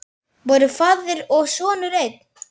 Voru faðir og sonur einn?